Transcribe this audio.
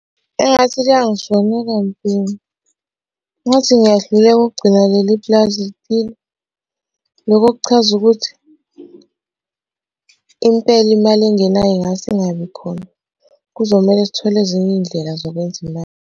Engathi liyangishonela mbhemu. Ngathi ngiyahluleka ukugcina leli pulazi liphila. Lokho kuchaza ukuthi impela imali engenayo ingase ingabi khona. Kuzomele sithole ezinye iy'ndlela zokwenza imali.